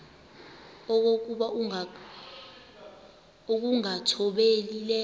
okokuba ukungathobeli le